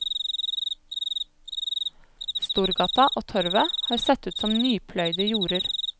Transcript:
Storgata og torvet har sett ut som nypløyede jorder.